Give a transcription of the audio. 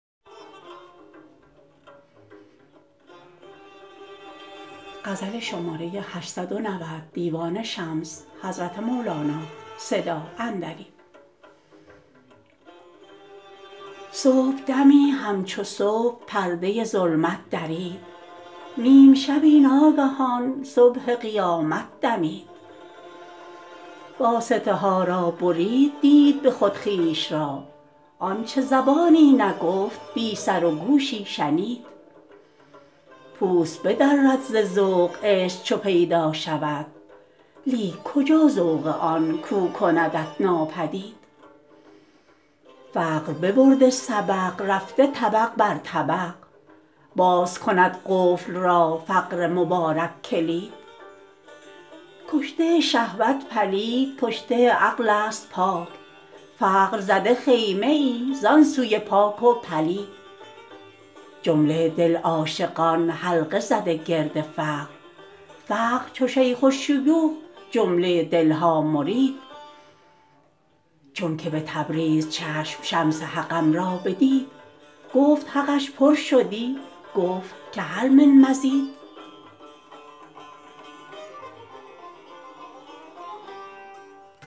صبحدمی همچو صبح پرده ظلمت درید نیم شبی ناگهان صبح قیامت دمید واسطه ها را برید دید به خود خویش را آنچ زبانی نگفت بی سر و گوشی شنید پوست بدرد ز ذوق عشق چو پیدا شود لیک کجا ذوق آن کو کندت ناپدید فقر ببرده سبق رفته طبق بر طبق باز کند قفل را فقر مبارک کلید کشته شهوت پلید کشته عقلست پاک فقر زده خیمه ای زان سوی پاک و پلید جمله دل عاشقان حلقه زده گرد فقر فقر چو شیخ الشیوخ جمله دل ها مرید چونک به تبریز چشم شمس حقم را بدید گفت حقش پر شدی گفت که هل من مزید